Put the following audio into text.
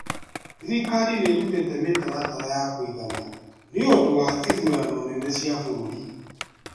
Thirikari nĩ ĩrutĩte mĩtaratara ya kũigana nĩũndũ wa ithurano nene cia bũrũri